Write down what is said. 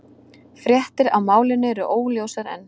Fréttir af málinu eru óljósar enn